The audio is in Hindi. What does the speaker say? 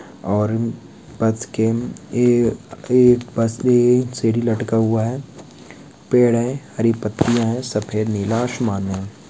पेड़ है हरी पत्तियां है सफेद नीला आसमान है|